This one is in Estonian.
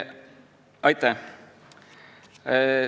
Aitäh!